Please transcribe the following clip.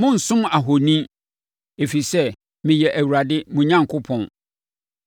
“ ‘Monnsom ahoni, ɛfiri sɛ, meyɛ Awurade mo Onyankopɔn.